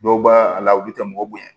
Dɔw b'a a la olu tɛ mɔgɔ bonya